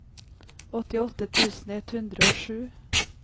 åttiåtte tusen ett hundre og sju